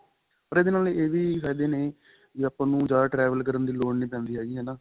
ਪਰ ਇਹਦੇ ਨਾਲ ਇਹ ਵੀ ਫਾਇਦੇ ਨੇ ਵੀ ਆਪਾਂ ਨੂੰ ਜਿਆਦਾ travel ਕਰਨ ਦੀ ਲੋੜ ਨਹੀਂ ਪੈਂਦੀ ਹੈਗੀ ਹਨਾ